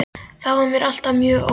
Þá var mér alltaf mjög órótt.